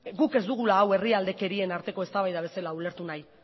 guk ez dugula hau herrialdekerien arteko eztabaida bezala ulertu nahi